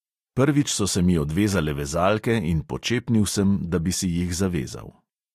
Prvič so se mi odvezale vezalke in počepnil sem, da bi si jih zavezal.